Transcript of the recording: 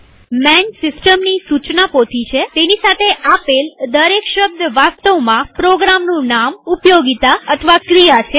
માન સિસ્ટમની સુચના પોથી છેતેની સાથે આપેલ દરેક શબ્દ વાસ્તવમાં પ્રોગ્રામનું નામઉપયોગીતા અથવા ક્રિયા છે